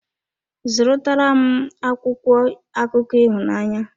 Zụrụ tara m akwụkwọ akụkọ ịhụnanya.